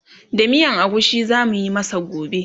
da miyan agushi zamuyi masa gobe